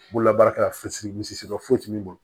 Bololabaarakɛla fsiri foyi tɛ min bolo